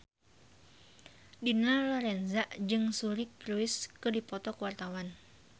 Dina Lorenza jeung Suri Cruise keur dipoto ku wartawan